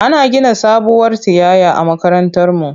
Ana gina sabuwar tiyaya a makarantarmu.